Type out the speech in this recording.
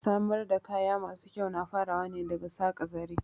Samar da kaya masu kyau na farawa ne daga saƙa zare